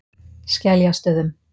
Skeljastöðum